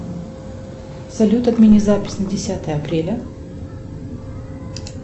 салют отмени запись на десятое апреля